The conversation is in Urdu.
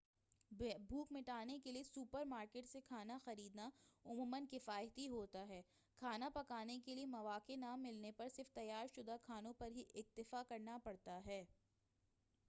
بھوک مٹانے کیلئے سوپر مارکیٹ سے کھانا خریدنا عموما کفایتی ہوتا ہے کھانا پکانے کیلئے مواقع نہ ملنے پر صرف تیار شدہ کھانوں پر ہی اکتفا کرنا پڑتا ہے